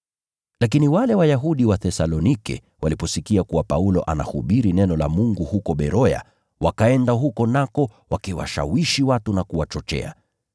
Lakini wale Wayahudi wa Thesalonike waliposikia kuwa Paulo anahubiri neno la Mungu huko Beroya, wakaenda huko ili kuwashawishi watu na kuwachochea.